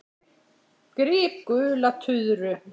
Gríp gula tuðru.